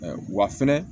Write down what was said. Wa fɛnɛ